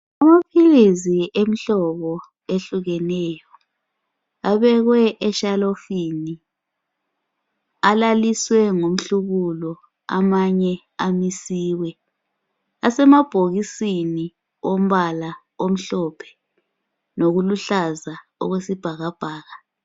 Amaphilizi emihlobo ehlukeneyo abekwe eshalofini. Alaliswe ngomhlubulo amanye amisiwe. Asemabhokisini ombala o mhlophe lokuluhlaza okwesibhakabhaka.